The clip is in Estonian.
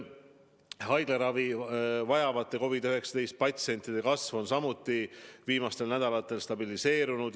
Haiglaravi vajavate COVID-19 patsientide arvu kasv on samuti viimastel nädalatel stabiliseerunud.